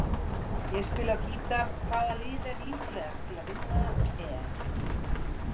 Ég spila á gítar Hvaða lið er líklegast til að vinna EM?